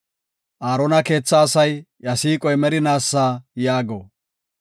Aarona keetha asay, “Iya siiqoy merinaasa” yaago.